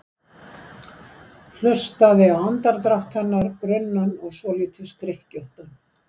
Hlustaði á andardrátt hennar, grunnan og svolítið skrykkjóttan.